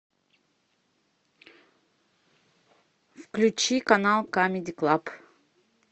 включи канал камеди клаб